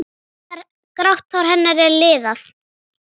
Grátt hár hennar er liðað.